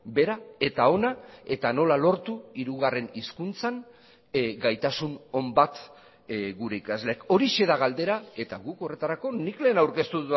bera eta ona eta nola lortu hirugarren hizkuntzan gaitasun on bat gure ikasleek horixe da galdera eta guk horretarako nik lehen aurkeztu